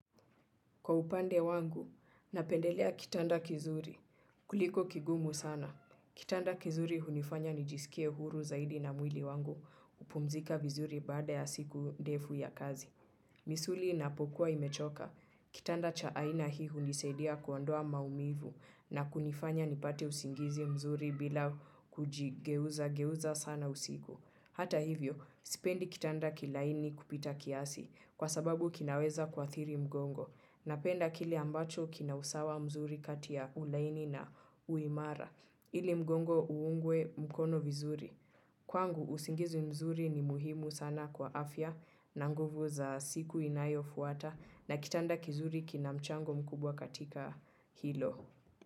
Kwa upande wangu, napendelea kitanda kizuri. Kuliko kigumu sana. Kitanda kizuri hunifanya nijisikie huru zaidi na mwili wangu kupumzika vizuri baada ya siku ndefu ya kazi. Misuli ina pokua imechoka. Kitanda chaaina hii hunisaidia kuondoa maumivu na kunifanya nipate usingizi mzuri bila kuji geuza geuza sana usiku. Hata hivyo, sipendi kitanda kilaini kupita kiasi kwa sababu kinaweza kua thiri mgongo na penda kile ambacho kinausawa mzuri katiya ulaini na uimara ili mgongo uungwe mkono vizuri. Kwangu, usingizi mzuri ni muhimu sana kwa afya na nguvu za siku inayo fuata na kitanda kizuri kinamchango mkubwa katika hilo.